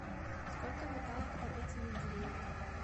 сколько металлов в таблице менделеева